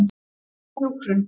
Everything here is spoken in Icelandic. Hvað er hjúkrun?